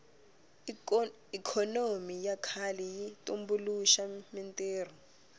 ikhonomi ya kahle yi tumbuluxa mintirho